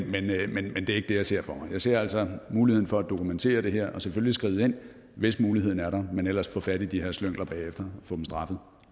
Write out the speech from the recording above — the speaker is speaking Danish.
det er ikke det jeg ser for mig jeg ser altså muligheden for at dokumentere det her og selvfølgelig skride ind hvis muligheden er der men ellers få fat i det her slyngler bagefter